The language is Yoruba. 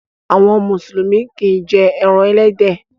Àwọn Mùsùlùmí kìí jé èràn elédè